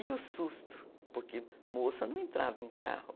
E o susto, porque moça não entrava em carro.